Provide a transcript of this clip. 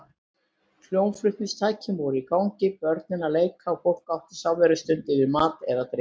Hljómflutningstæki voru í gangi, börn að leik og fólk átti samverustund yfir mat eða drykk.